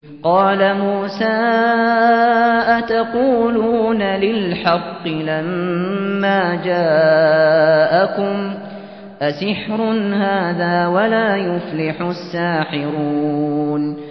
قَالَ مُوسَىٰ أَتَقُولُونَ لِلْحَقِّ لَمَّا جَاءَكُمْ ۖ أَسِحْرٌ هَٰذَا وَلَا يُفْلِحُ السَّاحِرُونَ